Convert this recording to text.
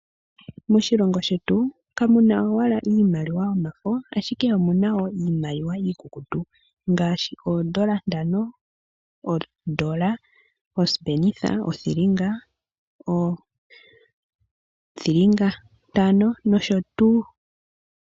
Moshilongo shetu kamu na owala iimaliwa yomafo, ashike omu na wo iimaliwa iikukutu ngaashi oodola ntano, odola , osipenitha, othilinga, iithilinga itano nosho tuu.